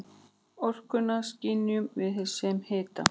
Orkuna skynjum við sem hita.